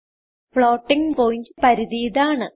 floating point പരിധി ഇതാണ്